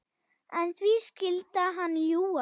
En því skyldi hann ljúga?